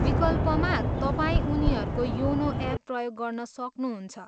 विकल्पमा, तपाईँ उनीहरूको योनो एप प्रयोग गर्न सक्नुहुन्छ।